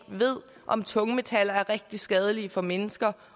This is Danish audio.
ved om tungmetaller er rigtig skadelige for mennesker